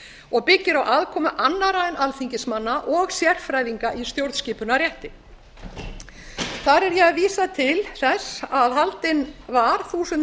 og byggir á aðkomu annarra en alþingismanna og sérfræðinga í stjórnskipunarrétti þar er ég að vísa til þess að haldinn var þúsund